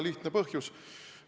Põhjus on väga lihtne.